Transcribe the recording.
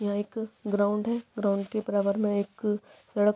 यह एक ग्राउंड है ग्राउंड के बराबर में एक सड़क--